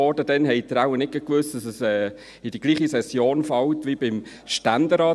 Damals wussten Sie wohl nicht, dass sie in die gleiche Session fällt wie beim Stände rat.